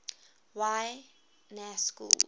y na schools